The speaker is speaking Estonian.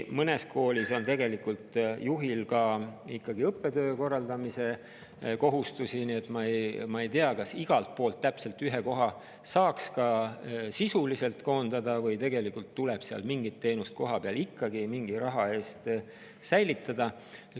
Mõnes koolis on juhil ka õppetöö korraldamise kohustusi, seetõttu ma ei tea, kas sisuliselt saaks igalt poolt ühe koha koondada või tuleb kohapeal mingit teenust mingi raha eest ikkagi säilitada.